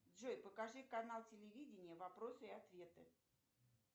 джой покажи канал телевидения вопросы и ответы